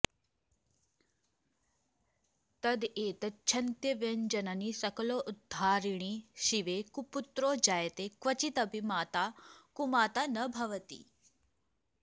तदेतत्क्षन्तव्यञ्जननि सकलोद्धारिणि शिवे कुपुत्रो जायेत क्वचिदपि कुमाता न भवति